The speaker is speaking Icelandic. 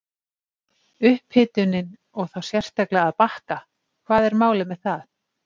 Upphitunin og þá sérstaklega að bakka, hvað er málið með það!?!?